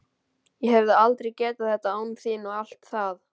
Ég hefði aldrei getað þetta án þín og allt það.